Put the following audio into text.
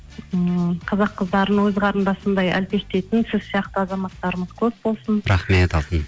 ммм қазақ қыздарын өз қарындасындай әлпештейтін сіз сияқты азаматтарымыз көп болсын рахмет алтыным